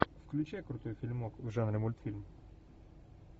включай крутой фильмок в жанре мультфильм